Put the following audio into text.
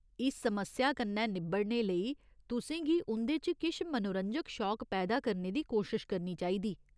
इस समस्या कन्नै निब्बड़ने लेई तुसें गी उं'दे च किश मनोरंजक शौक पैदा करने दी कोशश करनी चाहिदा।